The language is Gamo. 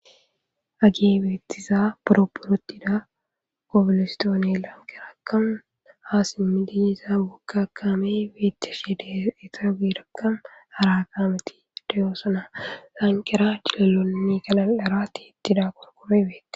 ageebeettiza poropporotida obilistoone lankerakan haa simmidinisa gokakame beetche she deetaugirakka harakameti deyoosona lankera cilelonni galalarati ittida qorkome beeti